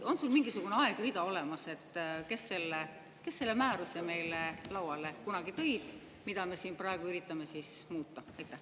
On sul mingisugune aegrida olemas selle kohta, et kes selle määruse kunagi meie lauale tõi, mida me praegu üritame siin muuta?